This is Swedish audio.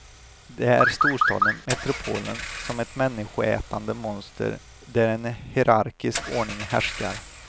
Det är storstaden, metropolen, som ett människoätande monster, där en hierarkisk ordning härskar.